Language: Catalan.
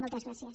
moltes gràcies